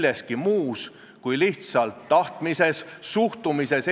Oleme vist kogenud, et eelnõu 666 tõepoolest õigustab oma numbrit.